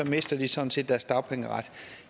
mister de sådan set deres dagpengeret